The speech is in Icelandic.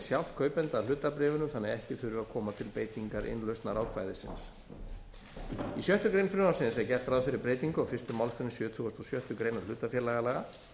sjálft kaupanda að hlutabréfinu þannig að ekki þurfi að koma til beitingar innlausnarákvæðisins í sjöttu greinar frumvarpsins er gert ráð fyrir breytingu á fyrstu málsgrein sjötugustu og sjöttu grein hlutafélagalaga